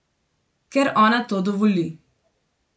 Ker ona to dovoli.